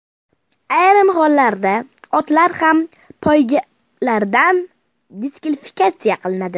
Ayrim hollarda otlar ham poygalardan diskvalifikatsiya qilinadi.